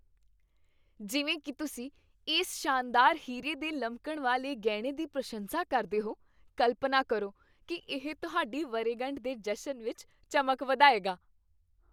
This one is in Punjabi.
ਜਿਵੇਂ ਕੀ ਤੁਸੀਂ ਇਸ ਸ਼ਾਨਦਾਰ ਹੀਰੇ ਦੇ ਲਮਕਣ ਵਾਲੇ ਗਹਿਣੇ ਦੀ ਪ੍ਰਸ਼ੰਸਾ ਕਰਦੇ ਹੋ, ਕਲਪਨਾ ਕਰੋ ਕਿ ਇਹ ਤੁਹਾਡੀ ਵਰ੍ਹੇਗੰਢ ਦੇ ਜਸ਼ਨ ਵਿੱਚ ਚਮਕ ਵਧਾਏਗਾ।